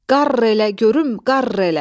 "Qarr elə görüm, qarr elə!"